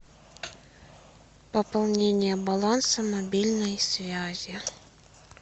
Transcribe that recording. пополнение баланса мобильной связи